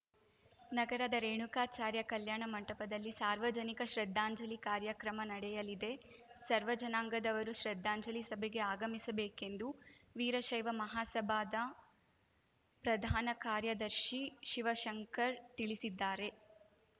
ನಗರದ ರೇಣುಕಾಚಾರ್ಯ ಕಲ್ಯಾಣ ಮಂಟಪದಲ್ಲಿ ಸಾರ್ವಜನಿಕ ಶ್ರದ್ಧಾಂಜಲಿ ಕಾರ್ಯಕ್ರಮ ನಡೆಯಲಿದೆ ಸರ್ವ ಜನಾಂಗದವರು ಶ್ರದ್ಧಾಂಜಲಿ ಸಭೆಗೆ ಆಗಮಿಸಬೇಕೆಂದು ವೀರಶೈವ ಮಹಾಸಭಾದ ಪ್ರಧಾನ ಕಾರ್ಯದರ್ಶಿ ಶಿವಶಂಕರ್‌ ತಿಳಿಸಿದ್ದಾರೆ